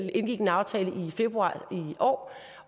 og indgik en aftale i februar i år